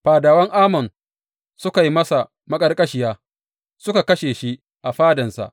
Fadawan Amon sukan yi masa maƙarƙashiya, suka kashe shi a fadansa.